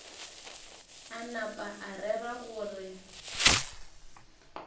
a napa a rera gore